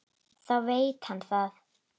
Þá veit hann það!